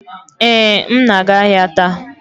Ee, m na-aga ahịa taa